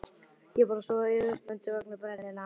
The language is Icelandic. Ég er bara svona yfirspenntur vegna brennunnar.